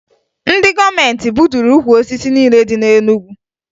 Ndị gọọmentị gbuturu ukwu osisi niile dị na Enugu